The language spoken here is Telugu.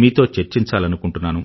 మీతో చర్చించాలనుకుంటున్నాను